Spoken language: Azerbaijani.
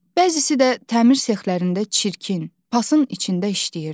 Bəzisi də təmir sexlərində çirkin, pasın içində işləyirdi.